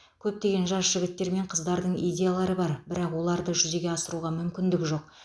көптеген жас жігіттер мен қыздардың идеялары бар бірақ оларды жүзеге асыруға мүмкіндігі жоқ